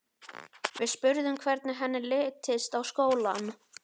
Við spurðum hvernig henni litist á skólann.